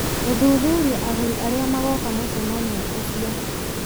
gũthuthuria agũri arĩa magoka mũcemanio ũcio